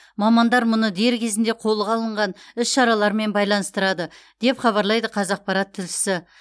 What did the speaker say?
мамандар мұны дер кезінде қолға алынған іс шаралармен байланыстырады деп хабарлайды қазақпарат тілшісі